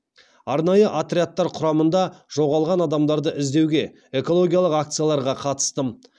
арнайы отрядтар құрамында жоғалған адамдарды іздеуге экологиялық акцияларға қатыстым